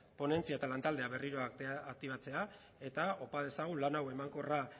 ponentzia eta lantaldea berriro aktibatzea eta opa dezagun lan hau emankorra